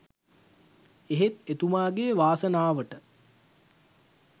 එහෙත් එතුමාගේ වාසනාවට